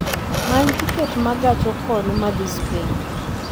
many tiket ma gach okolo madhi spain